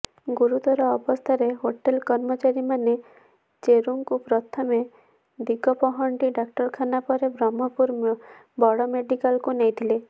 ଗୁରୁତର ଅବସ୍ଥାରେ ହୋଟେଲ୍ କର୍ମଚାରୀମାନେ ଚେରୁଙ୍କୁ ପ୍ରଥମେ ଦିଗପହଣ୍ଡି ଡାକ୍ତରଖାନା ପରେ ବ୍ରହ୍ମପୁର ବଡ଼ମେଡ଼ିକାଲ୍କୁ ନେଇଥିଲେ